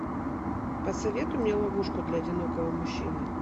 посоветуй мне ловушку для одинокого мужчины